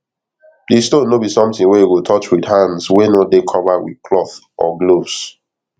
the stone no be sometin wey you go touch with hands wey no dey covered with cloth or gloves